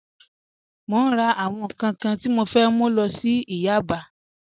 Mo n rà àwọn nkan kan tí mo fẹ́ mú lọ sí ìyà àgbà